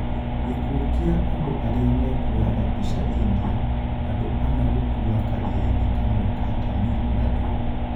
Gĩkuũ kĩa andũ arĩa mekuoyaga mbica India: Andũ ana gũkua karia-inĩ kamwe ka Tamil Nadu